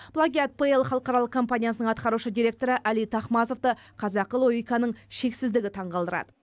плагиат пл халықаралық компаниясының атқарушы директоры әли тахмазовты қазақы логиканың шексіздігі таңқалдырады